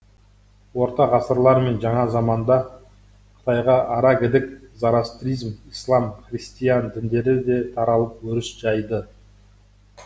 орта ғасырлар мен жаңа заманда қытайға арагідік зорастризм ислам христиан діндері де таралып өріс жайды